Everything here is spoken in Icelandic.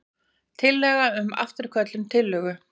Tillaga um afturköllun tillögu.